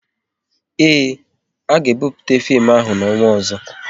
Ee, a ga-ebupute fim ahụ n'ọnwa ọzọ